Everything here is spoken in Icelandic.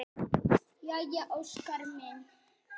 Jæja Óskar minn!